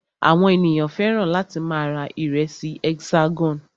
Àwọn ènìyàn fẹ́ràn láti máa ra ìrẹsì Hexagon.